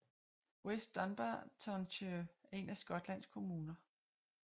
West Dunbartonshire er en af Skotlands kommuner